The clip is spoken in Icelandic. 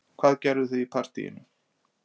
Hvað gerðuð þið í partíinu